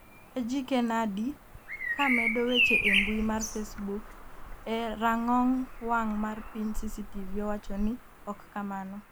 Ejike Nnadi, ka medo weche e mbui mar facebook e rang'ong wang' mar piny CCTV owacho ni'' ok kamano''